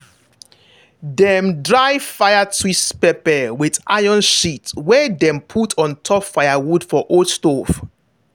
dem dry fire twist pepper with iron sheet wey dem put on top firewood for old stove.